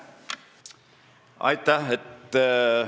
Aitäh!